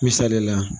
Misali la